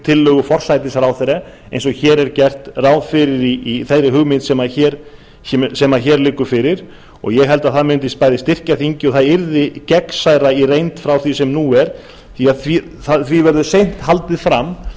tillögu forsætisráðherra eins og hér er gert ráð fyrir í þeirri hugmynd sem hér liggur fyrir og ég held að það mundi bæði styrkja þingið og það yrði gegnsærra í reynd frá því sem nú er því verður seint haldið fram